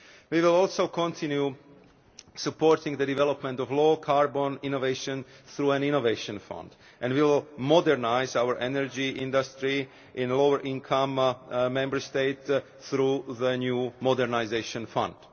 We will also continue supporting the development of low carbon innovation through an Innovation Fund and will modernise our energy industry in lower-income Member States through the new Modernisation